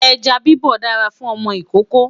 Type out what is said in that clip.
ejá bibọ dára fún ọmọ ìkókó